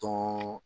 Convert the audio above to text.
Tɔn